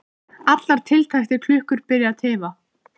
Allar tiltækar klukkur byrja að tifa.